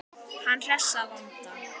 Hann hress að vanda.